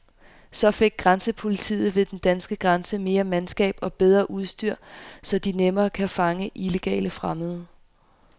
Så fik grænsepolitiet ved den danske grænse mere mandskab og bedre udstyr, så de nemmere kan fange illegale fremmede.